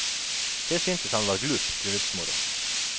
Det syntes han var glup bryllupsmoro.